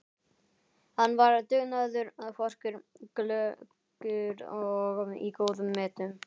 Hann var dugnaðarforkur, glöggur og í góðum metum.